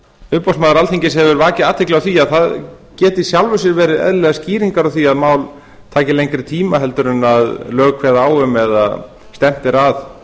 umboðsmaður alþingis hefur vakið athygli á því að það geti í sjálfu sér verið eðlilegar skýringar á því að mál taki lengri tíma heldur en lög kveða á um eða stefnt er að